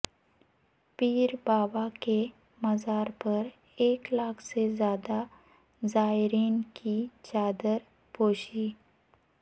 پیر بابا کے مزارپر ایک لاکھ سے زیادہ زائرین کی چادر پوشی